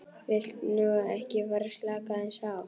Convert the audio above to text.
Viltu nú ekki fara að slaka aðeins á!